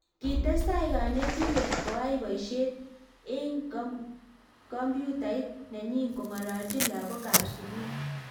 Kitestai kanitendet koai boishet eng kompyutait nenyi kong'alaljin lakok ab sukul.